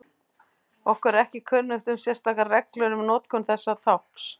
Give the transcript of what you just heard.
Okkur er ekki kunnugt um sérstakar reglur um notkun þessa tákns.